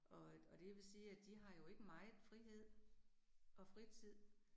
Og øh og det jeg vil sige, at de har jo ikke meget frihed og fritid